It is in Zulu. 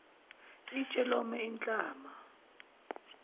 itshe lome inhlama